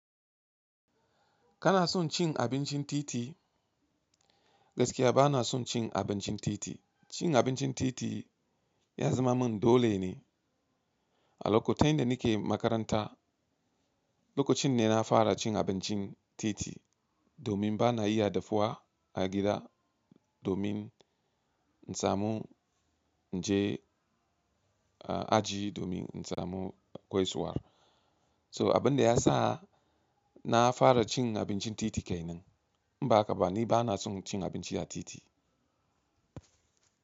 Kana son cin abincin titi? Gaskiya bana son cin abincin titi. Cin abincin titi ya zama min dole ne a lokutan da nake makaranta. Lokacin ne na fara cin abincin titi domin bana iya dafuwa a gida domin in samu in je a aji domin in samu gaisuwar. So abin da ya sa na fara cin abincin titi kai nan. In ba haka ba ni bana son cin abinci a titi.